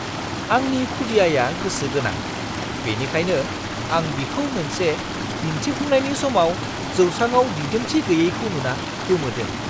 आंनि खुदियाया गोसो गोनां, बेनिखायनो आं बिखौ मोनसे दिन्थिफुंनायनि समाव जौसाङाव दिदोमथि गैयैखौ नुना गोमोदों!